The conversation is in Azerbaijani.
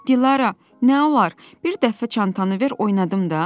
Dilarə, nə olar, bir dəfə çantanı ver oynadım da!